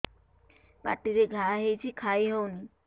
ପାଟିରେ ଘା ହେଇଛି ଖାଇ ହଉନି